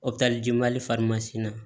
Opereli jɛmali na